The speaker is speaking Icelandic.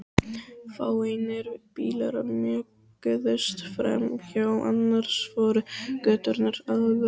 Fáeinir bílar mjökuðust framhjá, annars voru göturnar auðar.